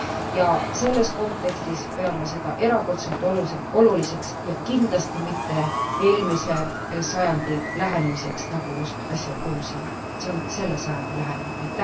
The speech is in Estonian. Ja selles kontekstis peame seda erakordselt oluliseks ja kindlasti mitte eelmise sajandi lähenemiseks, nagu just äsja kuulsime. See on selle sajandi lähenemine.